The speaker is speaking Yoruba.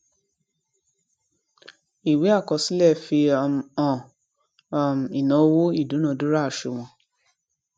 ìwé àkọsílẹ fi um hàn um ìnáwó ìdúnadúrà àsùnwòn